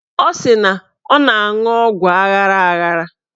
Ọ sị na ọ na-aṅụ ọgwụ aghara aghara